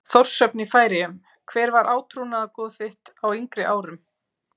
Þórshöfn í Færeyjum Hver var átrúnaðargoð þitt á yngri árum?